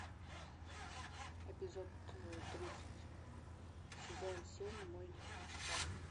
эпизод тридцать сезон семь мой невезучий парень